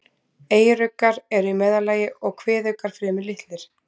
Eyruggar eru í meðallagi og kviðuggar fremur litlir.